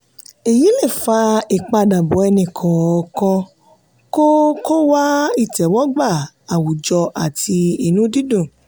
èyí le fa ipadabọ ẹni kọọkan kó kó wá ìtẹ́wọ́gbà àwùjọ àti inú dídùn.